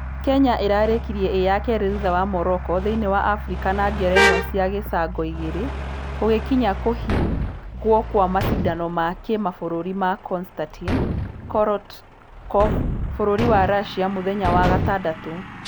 Kenya ĩrarekirie ĩ ya kefĩ thutha wa Morocco thĩinĩ wa africa na ngerenwa cia gĩcangoigĩrĩ. Gũgĩkinya kũhingwokwamashidano ma kĩmabũrũri ma Konstatin korotkov bũrũri wa russia mũthenya wa gatandatũ.